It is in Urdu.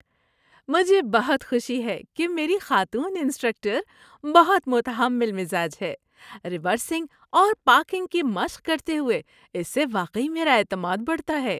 مجھے بہت خوشی ہے کہ میری خاتون انسٹرکٹر بہت متحمل مزاج ہے؛ ریورسنگ اور پارکنگ کی مشق کرتے ہوئے اس سے واقعی میرا اعتماد بڑھتا ہے۔